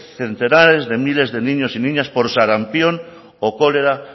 centenares de miles de niños y niñas por sarampión o cólera